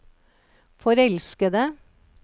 forelskede